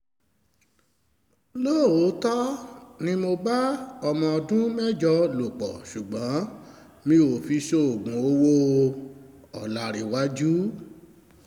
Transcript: lóòótọ́ ni mo bá ọmọ ọdún mẹ́jọ lò pọ̀ ṣùgbọ́n mi ò fi ṣoògùn owó- ọ̀làǹrẹ̀wájú